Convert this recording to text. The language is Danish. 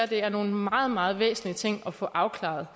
være nogle meget meget væsentlige ting at få afklaret